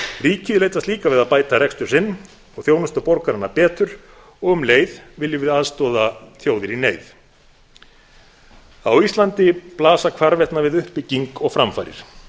ríkið leitast líka við að bæta rekstur sinn og þjónusta borgarana betur og um leið viljum við aðstoða þjóðir í neyð á íslandi blasa hvarvetna við uppbygging og framfarir